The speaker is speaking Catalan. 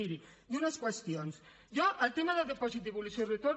miri i unes qüestions jo el tema del dipòsit devolució i retorn